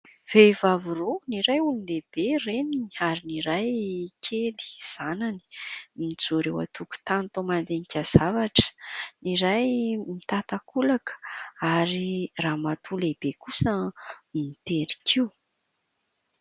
Vehivavy roa, ny iray olon-dehibe reniny ary ny iray kely zanany, mijoro eo an-tokotany toa mandinika zavatra. Ny iray mitan-takolaka ary ramatoa lehibe kosa mitery kiho.